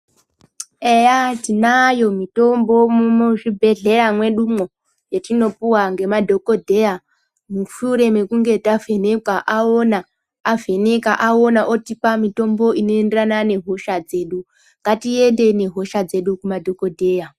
Eya tiayo mitombo muzvibhedhlera mwedumwo yetinopiwa ngemadhokodheya mushure mekunge avhenekwa aona avheneka aona otipa mitombo inoenderana nehosha dzedu ngatiende nehosha dzedu kumadhokodheya .